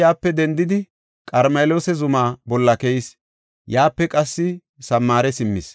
Elsi yaape dendidi, Qarmeloosa zuma bolla keyis; yaape qassi Samaare simmis.